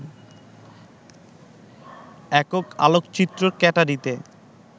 একক আলোকচিত্র ক্যাটারিতে